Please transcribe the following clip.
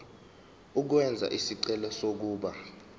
ukwenza isicelo sokuba